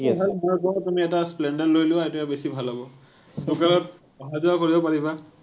মই কওঁ, তুমি এটা splendor লৈ লোৱা, এইটোৱে বেছি ভাল হ’ব। অহা যোৱা কৰিব পাৰিবা।